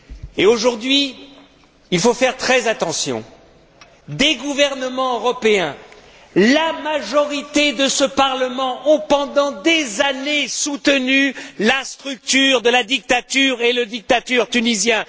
Et aujourd'hui, il faut faire très attention. Des gouvernements européens, la majorité de ce Parlement ont, pendant des années, soutenu la structure de la dictature, et le dictateur tunisien.